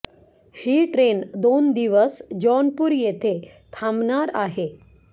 ही train दोन दिवस जौनपूर येथे थांबणार आहे